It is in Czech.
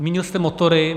Zmínil jste motory.